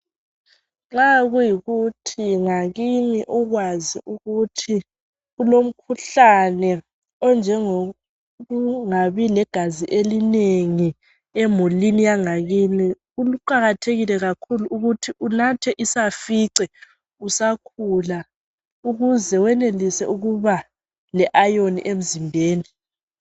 Nxa kuyikuthi ngakini ukwazi ukuthi kulomkhuhlane onjengokuthi ungabi legazi eliningi emulini Yangakini kuqakathekile kakhulu ukuthi unathe isafice usakhula ukuze wenelise ukuba le ayoni emzimbeni